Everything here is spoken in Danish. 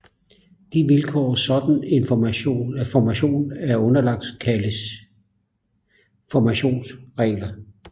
De vilkår en sådan formation er underlagt kaldes formationsregler